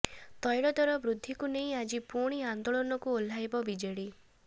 ତୈଳ ଦର ବୃଦ୍ଧିକୁ ନେଇ ଆଜି ପୁଣି ଆନ୍ଦୋଳନକୁ ଓହ୍ଲାଇବ ବିଜେଡି